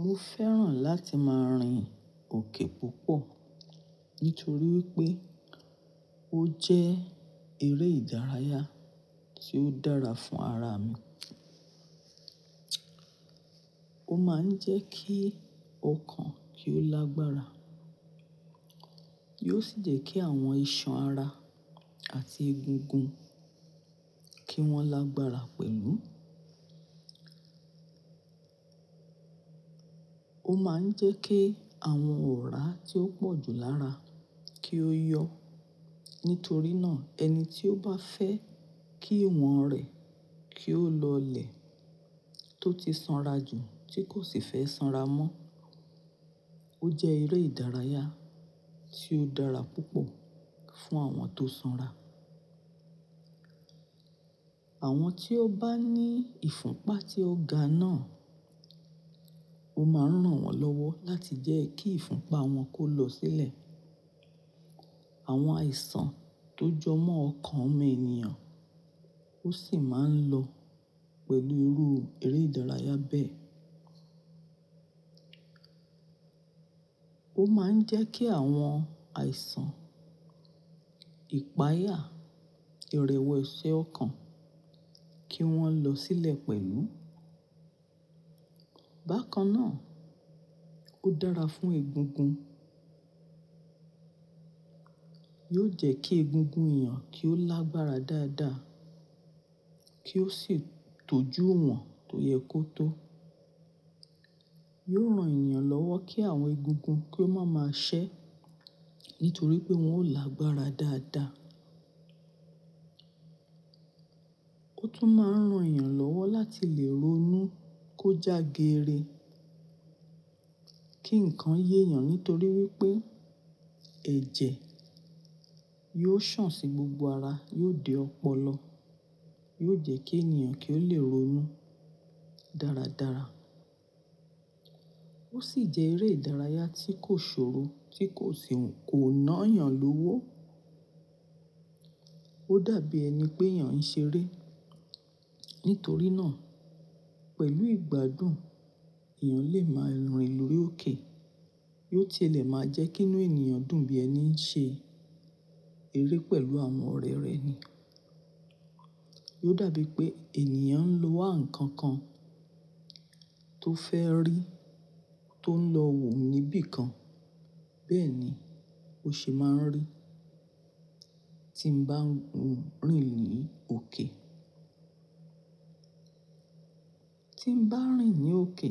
Mo fẹ́ràn láti máa rìn òkè púpọ̀ nítorí wípé ó jẹ́ eré ìdárayá tí ó dára fún ara mi. Ó máa ń jẹ́ kí ọkàn kí ó lágbára. Yiò sì jẹ́ kí àwọn ìṣàn ara àti egungun kí wọ́n lágbára pẹ̀lú. Ó máa ń jẹ́ kí àwọn ọ̀rá tí ó pọ̀jù lára kí ó yọ. Nítorí náà ẹni tí ó bá fẹ́ kí ìwọ̀n rẹ̀ kí ó lọlẹ̀ tó ti sanra jù tí kò sì fẹ́ sanra mọ́, ó jẹ́ eré ìdárayá tí ó dára púpọ̀ fún àwọn tó sanra. Àwọn tí ó bá ní ìfúnpa tí ó ga náà, ó máa ń ran wọ́n lọ́wọ́ láti jẹ́ kí ìfúnpa wọn kó lọ sílẹ̀. Àwọn àìsàn tó jọ mọ́ ọkàn ọmọ ènìyàn ó sì máa ń lọ pẹ̀lú irú eré ìdárayá bẹ́ẹ̀. Ó máa ń jẹ́ kí àwọn àìsàn ìpayà, ìrẹ̀wẹ̀si ọkàn kí wọ́n lọ sílẹ̀ pẹ̀lú. Bákan náà, ó dára fún egungun. Yio jẹ́ kí egungun èeyàn kí ó lágbára dáadáa kí ó sì tọ́jú iwon tó yẹ kó tó. Yiò ran ènìyàn lọ́wọ́ kí àwọn egungun kí ó máa máa ṣẹ́ nítorí pé wọn ó lágbára dáadáa. Ó tún máa ń ran èeyàn lọ́wọ́ láti lè ronú kó jágeere, kí ǹkan yé èeyàn nítorí wípé ẹ̀jẹ̀ yiò sàn sí gbogbo ara, yóò de ọpọlọ, yiò jẹ́ kí ènìyàn kí ó lè ronú dáradára. Ó sì jẹ́ eré ìdárayá tí kò ṣòro tí kò sì kò ná èeyàn lówó. Ó dàbí ẹni pé èeyàn ń ṣe eré. Nítorí náà pẹ̀lú ìgbádùn èeyàn lè máa rìn lórí òkè. Yóò tilẹ̀ máa jẹ́ kí inú ènìyàn dùn bí ẹni ń ṣe eré pẹ̀lú àwọn ọ̀rẹ́ rẹ̀ ni. Yiò dàbí pé ènìyàn ń wá nǹkan kan tó fẹ́ rí tó ń lọ wò níbí kan. Bẹ́ẹ̀ni ó ṣe máa ń rí tí mo bá ń rìn ní òkè. Tí mo bá rìn ní òkè,